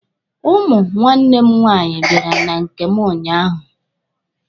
Ụmụ nwanne m nwaanyị bịara na nke m ụnyaahụ.